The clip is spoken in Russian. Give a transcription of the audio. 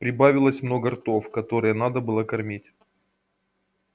прибавилось много ртов которые надо было кормить